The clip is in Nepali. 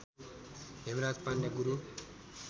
हेमराज पाण्डे गुरु